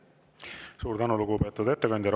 Suur tänu, lugupeetud ettekandja!